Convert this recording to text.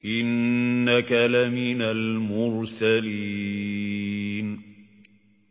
إِنَّكَ لَمِنَ الْمُرْسَلِينَ